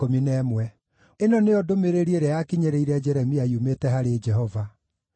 Ĩno nĩyo ndũmĩrĩri ĩrĩa yakinyĩrĩire Jeremia yumĩte harĩ Jehova: